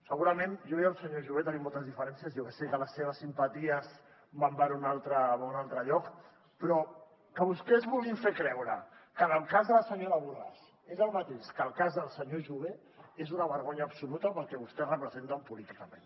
segurament jo i el senyor jové tenim moltes diferències jo sé que les seves simpaties van per un altre lloc però que vostès vulguin fer creure que el cas de la senyora borràs és el mateix que el cas del senyor jové és una vergonya absoluta pel que vostès representen políticament